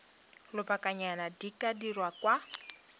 lobakanyana di ka dirwa kwa